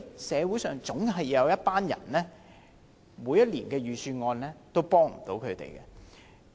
社會上總有一群人無法受惠於每年的預算案。